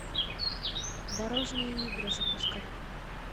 дорожные игры запускай